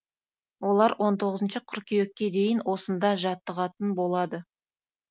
олар он тоғызыншы қыркүйекке дейін осында жаттығатын болады